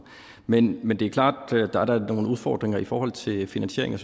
men men det er da klart at der er nogle udfordringer i forhold til finansieringen